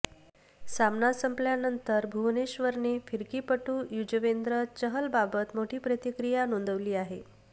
सामना संपल्यानंतर भुवनेश्वरने फिरकीपटू य़ुजवेंद्र चहलबाबत मोठी प्रतिक्रिया नोंदवली आहे